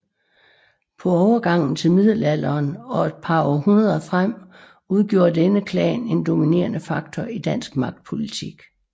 På overgangen til middelalderen og et par århundreder frem udgjorde denne klan en dominerende faktor i dansk magtpolitik